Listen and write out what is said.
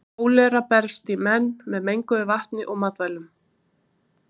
Kólera berst í menn með menguðu vatni og matvælum.